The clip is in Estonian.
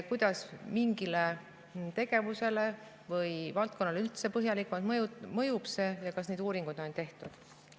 Kuidas üldse põhjalikumalt mõjub see mingile tegevusele või valdkonnale, kas neid uuringuid on tehtud?